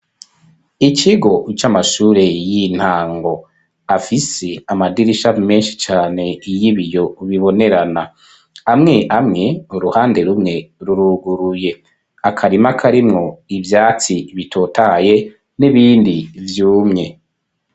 Ikigo, c'amashure y'intango; afise amadirisha, menshi cane, y'ibiyo bibonerana; amwe amwe, uruhande rumwe, ruruguruye; akarima karimwo ivyatsi bitotaye, n'ibindi vyumwe.